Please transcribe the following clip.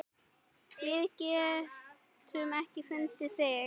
Við getum ekki fundið þig.